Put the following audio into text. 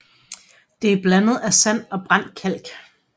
Det er blandet af sand og brændt kalk